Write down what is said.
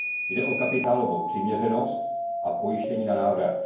Jde o kapitálovou přiměřenost a pojištění na návrat.